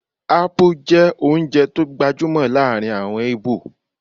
Ápú jẹ́ oúnjẹ tó gbajúmọ̀ láàrin àwọn íbò